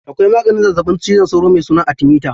Akwai maganin zazzaɓin cizon sauro mai suna atimita.